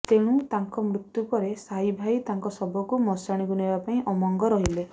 ତେଣୁ ତାଙ୍କ ମୃତ୍ୟୁ ପରେ ସାହି ଭାଇ ତାଙ୍କ ଶବକୁ ମଶାଣିକୁ ନେବା ପାଇଁ ଅମଙ୍ଗ ରହିଲେ